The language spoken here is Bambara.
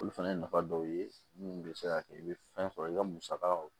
Olu fana ye nafa dɔw ye minnu bɛ se ka kɛ i bɛ fɛn sɔrɔ i ka musaka